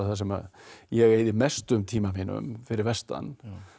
sem ég eyði mestum tíma mínum fyrir vestan